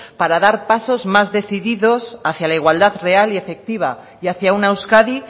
para dar pasos más decididos hacia la igualdad real y efectiva y hacia una euskadi